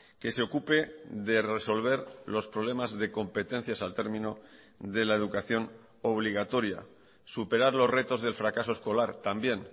que se ocupe de resolver los problemas de competencias al término de la educación obligatoria superar los retos del fracaso escolar también